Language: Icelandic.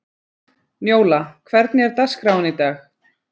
Njóla, hvernig er dagskráin í dag?